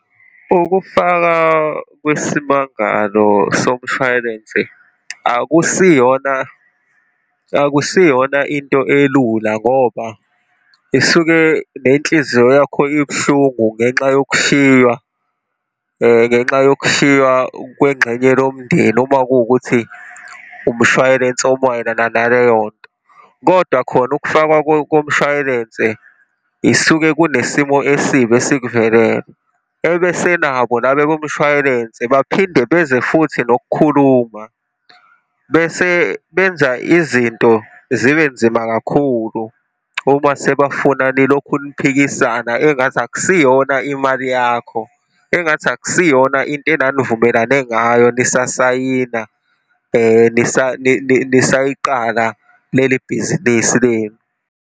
Ukufaka kwesimangalo somshwayilense akusiyona, akusiyona into elula ngoba isuke nenhliziyo yakho ibuhlungu ngenxa yokushiywa, ngenxa yokushiywa kwengxenye lomndeni uma kuwukuthi umshwayilense omayelana naleyo nto. Kodwa khona ukufakwa komshwayilense isuke kunesimo esibi esikuvelele. Ebese nabo laba bomshwayilense baphinde beze futhi nokukhuluma, bese benza izinto zibe nzima kakhulu uma sebafuna nilokhu niphikisana, engathi akusiyona imali yakho, engathi akusiyona into enanivumelane ngayo, nisasayina, nisayiqala leli bhizinisi leli.